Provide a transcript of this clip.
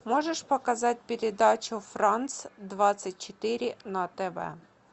можешь показать передачу франс двадцать четыре на тв